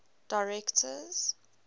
directors